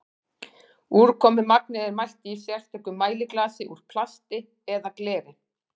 úrkomumagnið er mælt í sérstöku mæliglasi úr plasti eða gleri